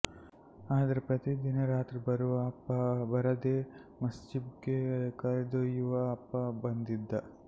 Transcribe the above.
ಆದ್ರೆ ಪ್ರತಿದಿನ ರಾತ್ರಿ ಬರುವ ಅಪ್ಪ ಬರದೇ ಮಸ್ಜ್ಭಿದ್ಗೆ ಕರೆದೊಯ್ಯುವ ಅಪ್ಪ ಬಂದಿದ್ದ